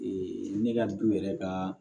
ne ka du yɛrɛ ka